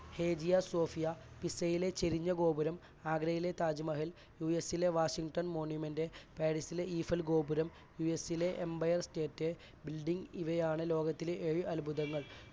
Hagia Sophia, പിസയിലെ ചെരിഞ്ഞ ഗോപുരം, ആഗ്രയിലെ താജ് മഹൽ, യൂഎസിലെ washington monument പാരിസിലെ ഈഫൽ ഗോപുരം, യുഎസിലെ empire state building ഇവയാണ് ലോകത്തിലെ ഏഴ് അത്ഭുതങ്ങൾ.